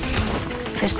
fyrsta